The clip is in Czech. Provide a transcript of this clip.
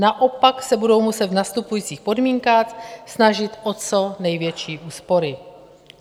Naopak se budou muset v nastupujících podmínkách snažit o co největší úspory.